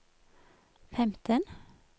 femten